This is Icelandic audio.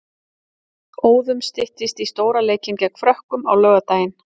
Óðum styttist í stóra leikinn gegn Frökkum á laugardaginn.